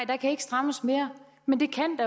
der kan ikke strammes mere men det kan